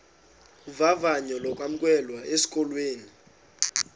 vavanyo lokwamkelwa esikolweni